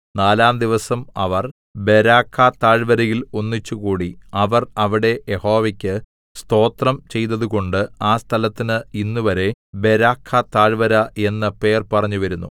നാലാം ദിവസം അവർ ബെരാഖാ താഴ്വരയിൽ ഒന്നിച്ചുകൂടി അവർ അവിടെ യഹോവക്കു സ്തോത്രം ചെയ്തതുകൊണ്ട് ആ സ്ഥലത്തിന് ഇന്നുവരെ ബെരാഖാതാഴ്വര എന്ന് പേർ പറഞ്ഞുവരുന്നു